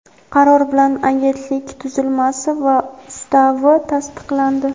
qaror bilan Agentlik tuzilmasi va Ustavi tasdiqlandi.